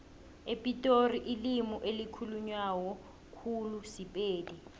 epitori ilimi elikhulunywa khulu sipedi